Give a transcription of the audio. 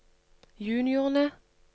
juniorene